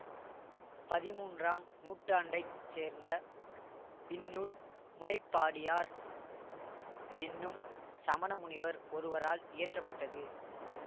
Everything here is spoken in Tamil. பதிமூன்றாம் நூற்றாண்டை சேர்ந்த இந்நூல் முனைப்பாடியார் என்னும் சமண முனிவர் ஒருவரால் இயற்ற பட்டது